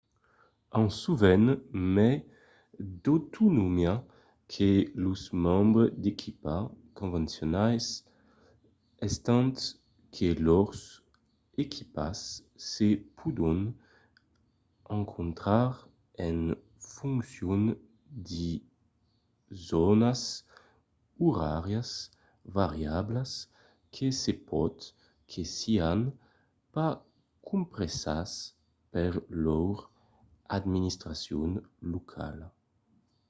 an sovent mai d’autonomia que los membres d’equipa convencionals estant que lors equipas se pòdon encontrar en foncion de zònas oràrias variablas que se pòt que sián pas compresas per lor administracion locala